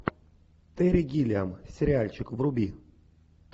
терри гиллиам сериальчик вруби